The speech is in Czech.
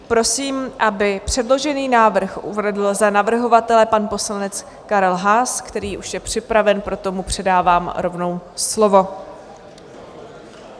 Prosím, aby předložený návrh uvedl za navrhovatele pan poslanec Karel Haas, který už je připraven, proto mu předávám rovnou slovo.